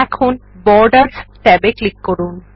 এখন borders tab এ click করুন